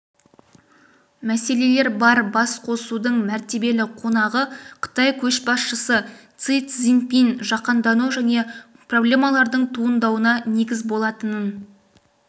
мәселелер бар басқосудың мәртебелі қонағы қытай көшбасшысы си цзиньпин жаһандану жаңа проблемалардың туындауына негіз болатынын